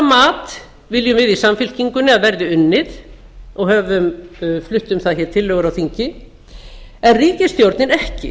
mat viljum við í samfylkingunni að verði unnið og höfum flutt um það tillögur í þinginu en ríkisstjórnin ekki